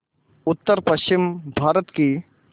उत्तरपश्चिमी भारत की